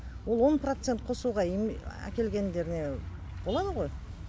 ол он процент қосуға әкелгендеріне болады ғой